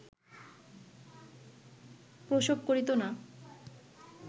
প্রসব করিত না